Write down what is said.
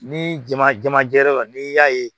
Ni jama jama jɛra n'i y'a ye